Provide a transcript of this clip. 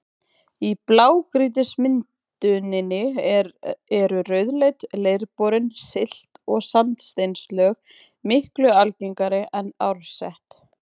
Í blágrýtismynduninni eru rauðleit, leirborin silt- og sandsteinslög miklu algengari en árset.